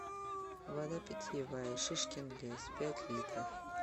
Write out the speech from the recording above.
вода питьевая шишкин лес пять литров